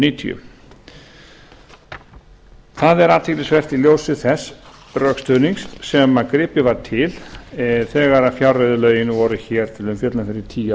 níutíu það er athyglisvert í ljósi þess rökstuðnings sem gripið var til þegar fjárreiðulögin voru til umfjöllunar fyrir tíu